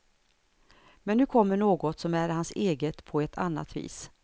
Men nu kommer något som är hans eget på ett annat vis.